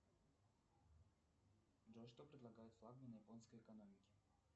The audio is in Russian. джой что предлагают флагманы японской экономики